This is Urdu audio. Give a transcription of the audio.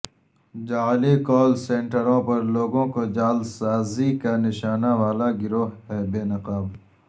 جعلی کال سنیٹروں پر لوگوں کو جعل سازی کا نشانہ والا گروہ بے نقاب